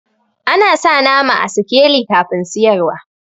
Ana sa nama a sikeli kafin siyarwa.